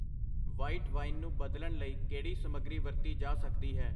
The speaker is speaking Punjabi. ਵ੍ਹਾਈਟ ਵਾਈਨ ਨੂੰ ਬਦਲਣ ਲਈ ਕਿਹੜੀ ਸਮੱਗਰੀ ਵਰਤੀ ਜਾ ਸਕਦੀ ਹੈ?